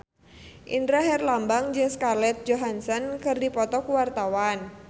Indra Herlambang jeung Scarlett Johansson keur dipoto ku wartawan